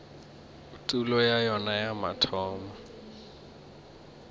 tulo ya yona ya mathomo